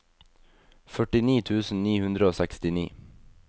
førtini tusen ni hundre og sekstini